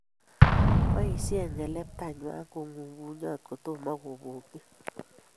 Boisien ng'eleptanywan kong'u bunyot kotomo kobokyi